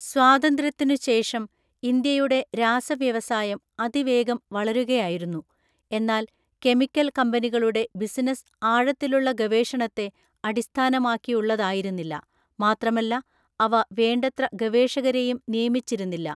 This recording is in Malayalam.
സ്വാതന്ത്ര്യത്തിനു ശേഷം ഇന്ത്യയുടെ രാസ വ്യവസായം അതിവേഗം വളരുകയായിരുന്നു. എന്നാൽ കെമിക്കൽ കമ്പനികളുടെ ബിസിനസ്സ് ആഴത്തിലുള്ള ഗവേഷണത്തെ അടിസ്ഥാനമാക്കിയുള്ളതായിരുന്നില്ല, മാത്രമല്ല അവ വേണ്ടത്ര ഗവേഷകരെയും നിയമിച്ചിരുന്നില്ല.